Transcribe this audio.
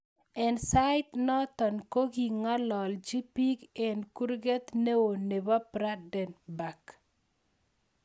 Eng sait notok kingalalji pik eng kurgrt neo nebo Brandenburg.